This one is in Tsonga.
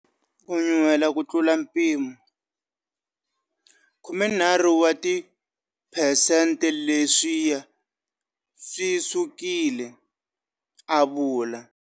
Ku nyuhela ku tlula mpimo, 13 wa tiphesenteleswiya swisukile, a vula.